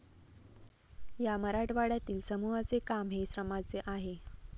या मराठवाड्यातील समूहाचे काम हे श्रमाचे आहे.